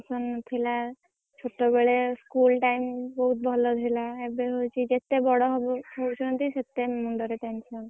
ବେଳେ school time ଭଲ ଥିଲା ଏବେ ହଉଛି ଯେତେ ବଡ ହବ ହଉଛନ୍ତି ମୁଣ୍ଡରେ ସେତେ tension